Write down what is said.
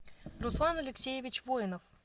руслан алексеевич воинов